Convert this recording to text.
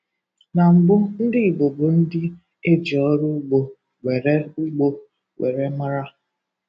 Na mbụ ndị Igbo bụ ndị e ji ọrụ ụgbo were ụgbo were mara